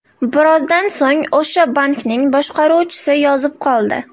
Birozdan so‘ng o‘sha bankning boshqaruvchisi yozib qoldi.